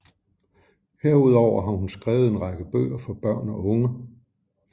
Herudover har hun skrevet en række bøger for børn og unge